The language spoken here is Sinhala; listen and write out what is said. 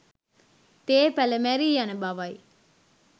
තේ පැළ මැරී යන බවයි